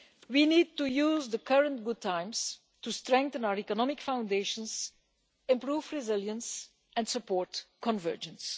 We need to use the current good times to strengthen our economic foundations, improve resilience and support convergence.